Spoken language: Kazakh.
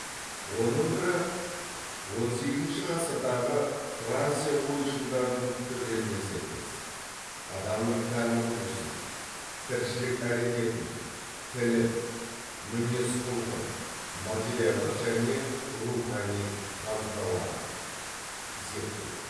оның бірі он сегізінші ғасырдағы франция ойшылдарының пікірлеріне сәйкес адамның тән құрылысын тіршілік әрекетін тілін мінез құлқын материалдық және рухани қазыналарын зерттеу